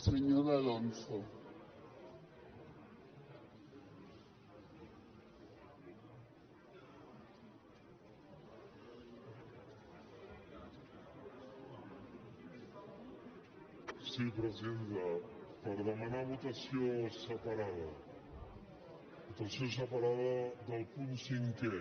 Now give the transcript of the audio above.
sí presidenta per demanar votació separada votació separada del punt cinquè